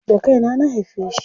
Da kaina na haife shi.